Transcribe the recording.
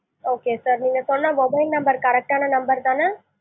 okay sir நீங்க சொன்ன mobile number correct டான number தான?